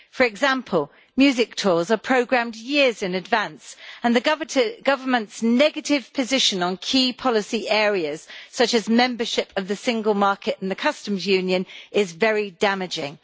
For example, music tours are programmed years in advance and the UK Government's negative position on key policy areas, such as membership of the single market and the customs union, is very damaging.